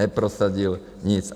Neprosadil nic.